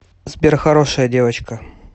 сбер хорошая девочка